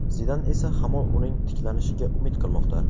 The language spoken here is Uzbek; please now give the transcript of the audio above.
Zidan esa hamon uning tiklanishiga umid qilmoqda.